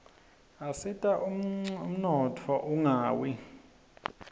asita ummotfo unqawi